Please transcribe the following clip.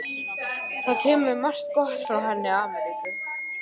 Það kemur margt gott frá henni Ameríku.